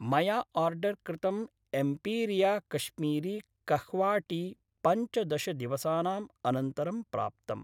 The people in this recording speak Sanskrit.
मया आर्डर् कृतं एम्पीरिया कश्मीरी कह्वा टी पञ्चदश दिवसानाम् अनन्तरं प्राप्तम्।